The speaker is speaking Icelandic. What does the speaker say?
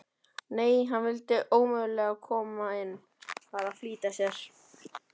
Nei, hann vildi ómögulega koma inn, var að flýta sér.